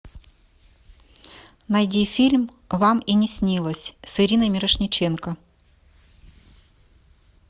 найди фильм вам и не снилось с ириной мирошниченко